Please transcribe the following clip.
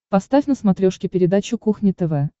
поставь на смотрешке передачу кухня тв